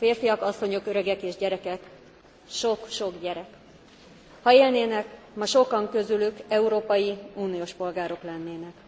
Férfiak, asszonyok, öregek és gyerekek. Sok sok gyerek. Ha élnének, ma sokan közülük európai uniós polgárok lennének.